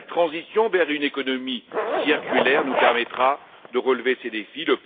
Seule la transition vers une économie circulaire nous permettra de relever ces défis.